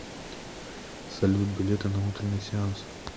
салют билеты на утренний сеанс